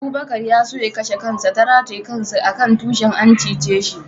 Abubakar ya so ya kashe kansa ta rataye kansa a kan tushin, an cice shi.